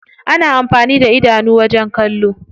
Ana amfani da idanu wajen kallo.